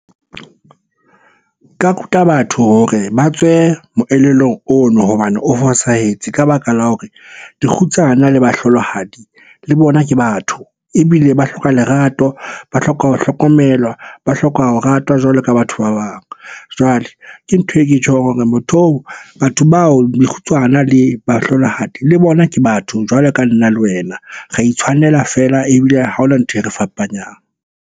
Nka ruta batho hore ba tswe moelelong ono hobane o fosahetse ka baka la hore dikgutsana le bahlolohadi le bona ke batho. Ebile ba hloka lerato, ba hloka ho hlokomelwa, ba hloka ho ratwa jwalo ka batho ba bang. Jwale ke ntho e ke tjhong hore motho oo, batho bao dikgutsana le bahlolohadi le bona ke batho jwalo ka le nna le wena. Ra itshwanela feela, ebile ha hona ntho e re fapanyang.